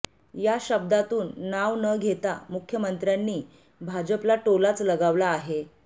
या शब्दातून नाव न घेता मुख्यमंत्र्यांनी भाजपला टोलाच लगावला आहे